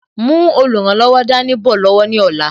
Mú olùrànlọ́wọ̀ dání bọ̀ lọ́wọ́ ní ọ̀la